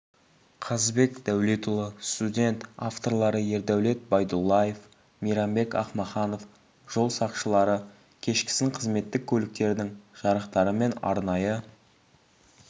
қазыбек дәулетұлы студент авторлары ердәулет байдуллаев мейрамбек акмаханов жол сақшылары кешкісін қызметтік көліктердің жарықтары мен арнайы